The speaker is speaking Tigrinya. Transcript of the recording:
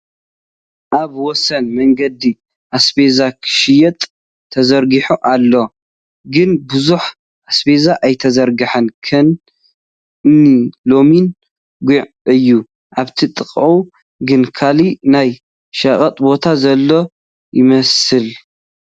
ኣብ ወሰን መገዲ ኣስቤዛ ኽሽየጥ ተዘርጊሑ ኣሎ ፡ ግን ብዙሕ ኣስቤዛ አይተዘርገሓን ከን እኒ ለሚን ፣ ጉዕ እዩ፡ ኣብቲ ጥቐኡ ግን ካሊእ ናይ ሸቐጥ ቦታ ዘሎ ይመስል ።